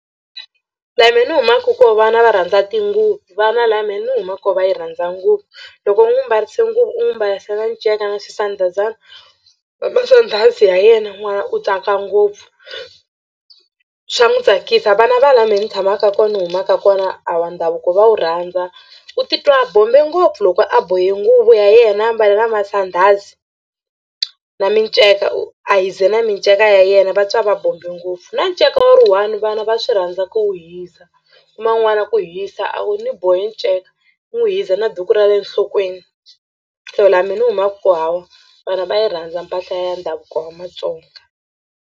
La mehe ni humaka kona vana va rhandza tinguvu vana la me ni huma koho va yi rhandza nguvu. Loko u n'wi mbarise nguvu u n'wi mbarise na nceka na swisandhazana na masandhazi ya yena n'wana u tsaka ngopfu swa n'wi tsakisa. Vana va la mehe ni tshamaka kona ni humaka kona hawa ndhavuko va wu rhandza u titwa bombe ngopfu loko a bohe nguvu ya yena a mbale na masandhazi na miceka u a hiza na miceka ya yena va twa va bombe ngopfu na nceka wa ri one vana va swi rhandza ku wu hiza kuma n'wana ku hiza a wu ni boha nceka ni wu hiza na duku ra le nhlokweni so laha mi ni humaka ku hawa vana va yi rhandza mpahla ya ndhavuko wa Matsonga.